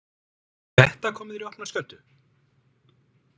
Þetta kom þér í opna skjöldu?